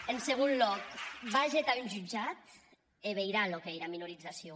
en segon lòc vage tà un jutjat e veirà çò qu’ei era minorizacion